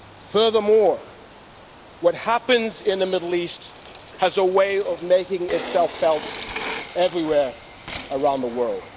Furthermore, what happens in the Middle East has a way of making itself felt everywhere around the world.